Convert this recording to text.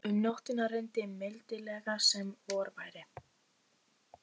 Um nóttina rigndi mildilega sem vor væri.